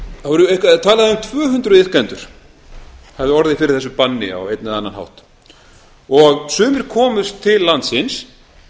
um að um tvö hundruð iðkendur hafi orðið fyrir þessu banni á einn eða annan hátt sumir komust til landsins